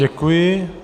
Děkuji.